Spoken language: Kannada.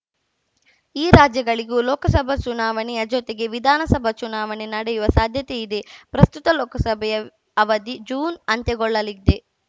ಈ ರಾಜ್ಯಗಳಿಗೂ ಲೋಕಸಭ ಚುನಾವಣೆಯ ಜೊತೆಗೇ ವಿಧಾನಸಭ ಚುನಾವಣೆ ನಡೆಯುವ ಸಾಧ್ಯತೆಯಿದೆ ಪ್ರಸ್ತುತ ಲೋಕಸಭೆಯ ಅವಧಿ ಜೂನ್‌ ಅಂತ್ಯಗೊಳ್ಳಲಿದೆ